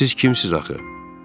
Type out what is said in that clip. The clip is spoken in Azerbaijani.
Siz kimsiniz axı?